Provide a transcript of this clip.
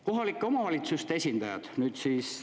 Kohalike omavalitsuste esindajad, nüüd siis …